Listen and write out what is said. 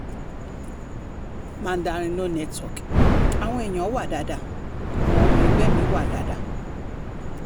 mandarin no network àwọn èèyàn wá dáadáa àwọn ọmọ ẹgbẹ́ mi wá dáadáa